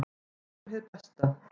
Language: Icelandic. Við vonum hið besta.